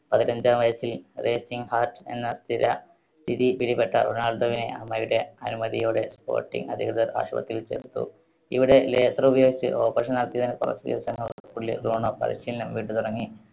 പതിനഞ്ചാം വയസ്സിൽ racing heart എന്ന സ്ഥിര, സ്ഥിതി പിടിപെട്ട റൊണാൾഡോവിനെ അമ്മയുടെ അനുമതിയോടെ sporting അധികൃതർ ആശുപത്രിയിൽ ചേർത്തു. ഇവിടെ laser ഉപയോഗിച്ച് operation നടത്തിയതിന് കുറച്ച് ദിവസങ്ങൾക്കുള്ളിൽ റോണോ പരിശീലനം വീണ്ടും തുടങ്ങി.